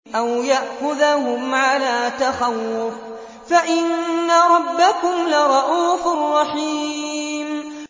أَوْ يَأْخُذَهُمْ عَلَىٰ تَخَوُّفٍ فَإِنَّ رَبَّكُمْ لَرَءُوفٌ رَّحِيمٌ